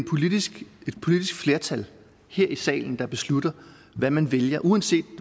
politisk flertal her i salen der beslutter hvad man vælger uanset